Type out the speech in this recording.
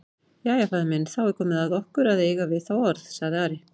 Jæja, faðir minn, þá er komið að okkur að eiga við þá orð, sagði Ari.